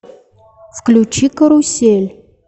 включи карусель